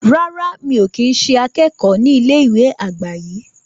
rárá, mi ò kí ń ṣe akẹ́kọ̀ọ́ ní ilé ìwé àgbà yi